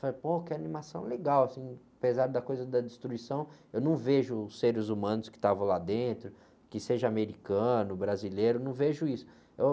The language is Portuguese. Sabe? Pô, que animação legal, assim, apesar da coisa da destruição, eu não vejo os seres humanos que estavam lá dentro, que seja americano, brasileiro, não vejo isso.